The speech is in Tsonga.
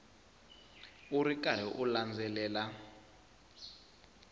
u ri karhi u landzelela